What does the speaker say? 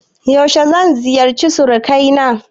Yaushe zan ziyarce suruƙanai na?